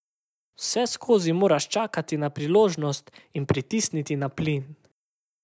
Vseskozi moraš čakati na priložnost in pritisniti na plin.